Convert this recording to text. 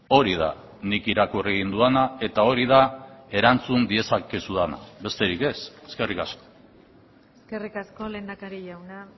hori da nik irakurri egin dudana eta hori da erantzun diezakezudana besterik ez eskerrik asko eskerrik asko lehendakari jauna